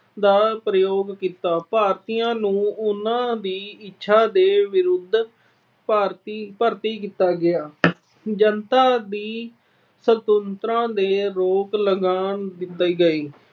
ਦਾ ਪ੍ਰਯੋਗ ਕੀਤਾ। ਭਾਰਤੀਆਂ ਨੂੰ ਉਹਨਾਂ ਦੀ ਇੱਛਾ ਦੇ ਵਿਰੁੱਧ ਭਾਰਤੀ ਅਹ ਭਰਤੀ ਕੀਤਾ ਗਿਆ। ਜਨਤਾ ਦੀ ਸੁਤੰਤਰਤਾ ਤੇ ਰੋਕ ਲਗਾ ਦਿੱਤੀ ਗਈ।